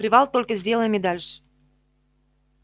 привал только сделаем и дальше